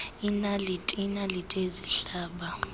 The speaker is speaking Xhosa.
iinaliti iinaliti ezihlaba